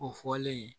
O fɔlen